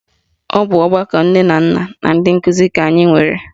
Ọ bụ ọgbakọ nne na nna na ndị nkụzi ka anyị nwere